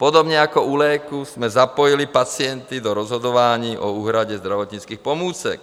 Podobně jako u léků jsme zapojili pacienty do rozhodování o úhradě zdravotnických pomůcek.